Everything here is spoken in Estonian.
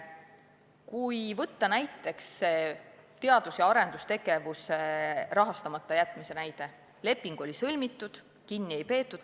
Kui tuua see teadus- ja arendustegevuse rahastamata jätmise näide – leping on sõlmitud, kinni sellest ei peeta.